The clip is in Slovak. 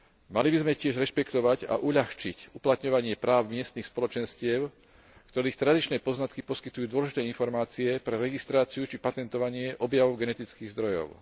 Mali by sme tiež rešpektovať a uľahčiť uplatňovanie práv miestnych spoločenstiev, ktorých tradičné poznatky poskytujú dôležité informácie pre registráciu či patentovanie objavov genetických zdrojov.